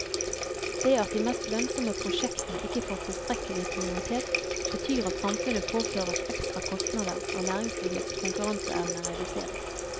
Det at de mest lønnsomme prosjektene ikke får tilstrekkelig prioritet, betyr at samfunnet påføres ekstra kostnader og næringslivets konkurranseevne reduseres.